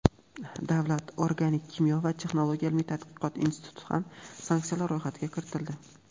Davlat organik kimyo va texnologiya ilmiy-tadqiqot instituti ham sanksiyalar ro‘yxatiga kiritildi.